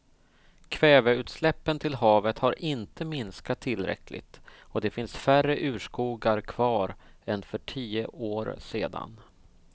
Kväveutsläppen till havet har inte minskat tillräckligt och det finns färre urskogar kvar än för tio år sedan.